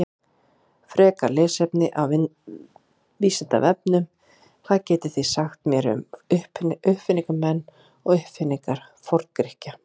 Frekara lesefni af Vísindavefnum: Hvað getið þið sagt mér um uppfinningamenn og uppfinningar Forngrikkja?